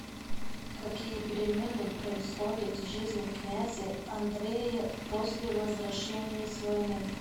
какие перемены происходят в жизни князя андрея после возвращения с войны